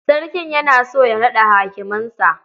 Sarki yana so ya naɗa hakimansa.